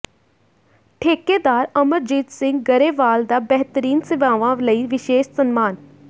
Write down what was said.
ਠੇਕੇਦਾਰ ਅਮਰਜੀਤ ਸਿੰਘ ਗਰੇਵਾਲ ਦਾ ਬਿਹਤਰੀਨ ਸੇਵਾਵਾਂ ਲਈ ਵਿਸ਼ੇਸ਼ ਸਨਮਾਨ